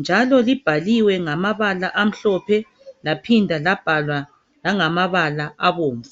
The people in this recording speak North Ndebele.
njalo libhaliwe ngamabala amhlophe laphinda labhalwa langamabala abomvu.